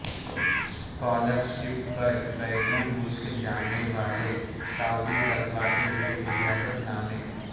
scholar شپ پر بیرون ملک جانے والے سعودی طلبہ کے لیے اجازت نامے